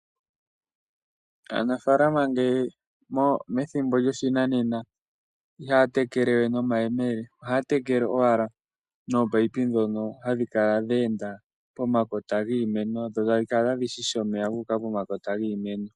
Aanafaalama methimbo lyoshinanena, iha ya tekele we nomayeleme. Ohaya tekele owala noopaipi dhono hadhi kala dhe enda pomakota giimeno, dho tadhi kala tadhi shisha omeya, gu uka pomakota giimeno.